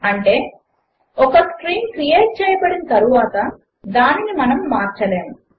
అంటే ఒక string create చేయబడిన తరువాత దానిని మార్చలేము